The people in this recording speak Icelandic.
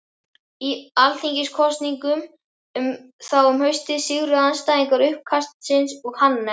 Í alþingiskosningum þá um haustið sigruðu andstæðingar uppkastsins og Hannes